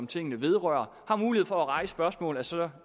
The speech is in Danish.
tingene vedrører har mulighed for at rejse spørgsmål af så